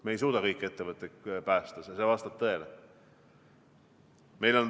Riik ei suuda kõiki ettevõtteid päästa, see vastab tõele.